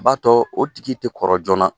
B'a tɔɔ o tigi te kɔrɔ joona.